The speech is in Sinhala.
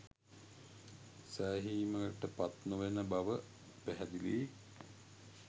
සෑහීමට පත්නොවන බව පැහැදිලියි